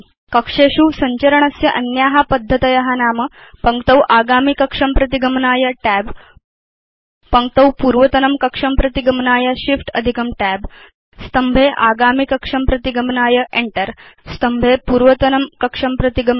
कक्षेषु सञ्चरणस्य अन्या पद्धतय नाम Tab पङ्क्तौ आगामिकक्षं प्रति गमनाय Shift Tab पङ्क्तौ पूर्वतनं कक्षं प्रति गमनाय Enter स्तम्भे आगामिकक्षं प्रति गमनाय Shift Enter स्तम्भे पूर्वतनं कक्षं प्रति गमनाय